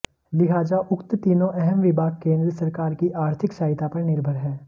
लिहाजा उक्त तीनों अहम विभाग केंद्र सरकार की आर्थिक सहायता पर निर्भर हैं